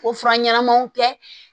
O fura ɲɛnamaw tɛ